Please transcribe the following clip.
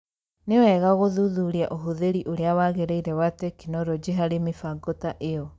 Nĩ wega gũthuthuria ũhũthĩri ũrĩa wagĩrĩire wa tekinoronji harĩ mĩbango ta ĩyo.